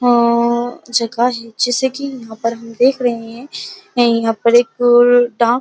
आ जगह है जैसे कि हम यहाँ पर देख रहे हैं यहाँ पर एक --